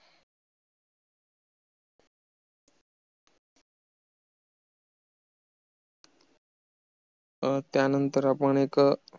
अं त्या नंतर आपण एक